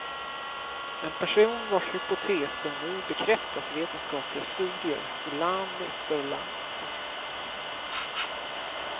En person vars hypoteser nu bekräftas i vetenskapliga studier i land efter land.